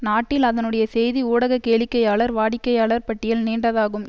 நாட்டில் அதனுடைய செய்தி ஊடக கேளிக்கையாளர் வாடிக்கையாளர் பட்டியல் நீண்டதாகும்